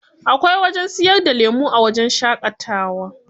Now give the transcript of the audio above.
Akwai wajen siyar da lemu a wajen shaƙatawa.